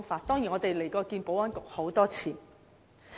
當然，我們也到過保安局多次。